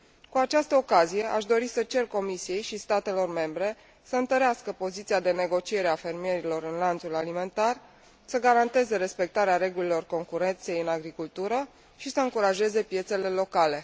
Cu această ocazie, aș dori să cer Comisiei și statelor membre să întărească poziția de negociere a fermierilor în lanțul alimentar, să garanteze respectarea regulilor concurenței în agricultură și să încurajeze piețele locale.